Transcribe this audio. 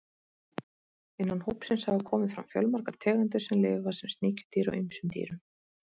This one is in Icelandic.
Innan hópsins hafa komið fram fjölmargar tegundir sem lifa sem sníkjudýr á ýmsum dýrum.